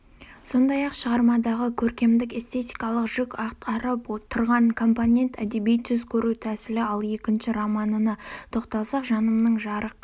сондай-ақ шығармадағы көркемдік-эстетикалық жүк атқарып тұрған компонент-әдеби түс көру тәсілі ал екінші романына тоқталсақ жанымның жарық